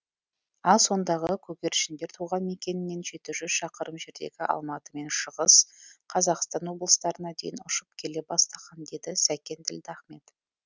ал сондағы көгершіндер туған мекенінен жеті жүз шақырым жердегі алматы мен шығыс қазақстан облыстарына дейін ұшып келе бастаған деді сәкен ділдахмет